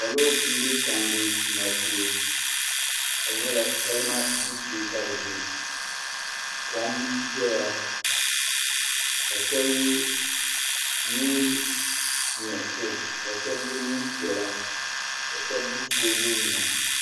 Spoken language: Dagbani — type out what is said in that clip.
Salo n bɛ tandi tuma shee ka di nyɛla salima gbibu shee ka bi bɛ kom doya ka shab yɛ neen nuɣso ka shab yɛ neen piɛla ka shab gbubi soobuli nima